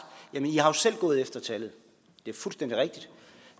i har jo selv gået efter tallet det er fuldstændig rigtigt